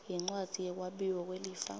yincwadzi yekwabiwa kwelifa